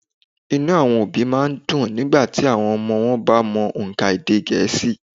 Inú àwọn òbí a má a dùn nígbàtí àwọn ọmọ wọn bá mọ ònkà èdè gẹ̀ẹ́sì